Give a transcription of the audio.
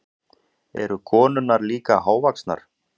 Eru konurnar líka hávaxnar?